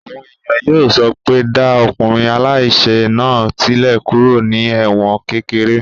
Àwọn èèyàn yóò sọ pé dá ọkùnrin aláìsẹ̀ náà sílẹ̀ kúrò ní ẹ̀wọ̀n kékeré!